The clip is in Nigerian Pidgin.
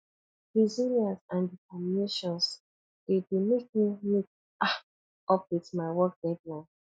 resilience and determinations dey dey make me meet um up with my work deadline